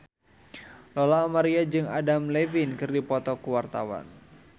Lola Amaria jeung Adam Levine keur dipoto ku wartawan